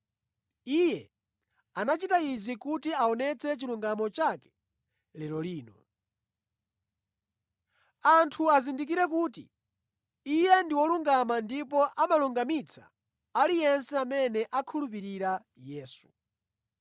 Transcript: Iye anachita izi kuti aonetse chilungamo chake lero lino. Anthu azindikire kuti Iye ndi wolungama ndipo amalungamitsa aliyense amene akhulupirira Yesu.